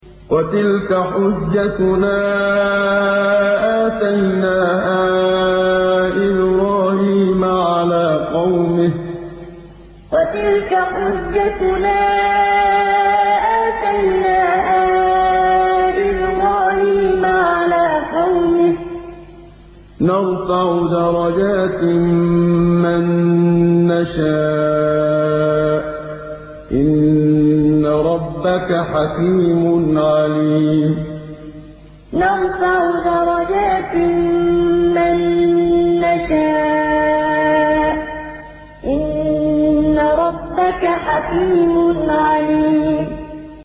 وَتِلْكَ حُجَّتُنَا آتَيْنَاهَا إِبْرَاهِيمَ عَلَىٰ قَوْمِهِ ۚ نَرْفَعُ دَرَجَاتٍ مَّن نَّشَاءُ ۗ إِنَّ رَبَّكَ حَكِيمٌ عَلِيمٌ وَتِلْكَ حُجَّتُنَا آتَيْنَاهَا إِبْرَاهِيمَ عَلَىٰ قَوْمِهِ ۚ نَرْفَعُ دَرَجَاتٍ مَّن نَّشَاءُ ۗ إِنَّ رَبَّكَ حَكِيمٌ عَلِيمٌ